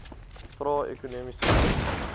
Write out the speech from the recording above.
trae ekonomiese groei